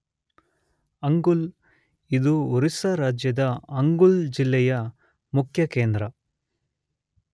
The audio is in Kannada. ಅಂಗುಲ್ ಇದು ಒರಿಸ್ಸಾ ರಾಜ್ಯದ ಅಂಗುಲ್ ಜಿಲ್ಲೆ ಯ ಮುಖ್ಯ ಕೇಂದ್ರ.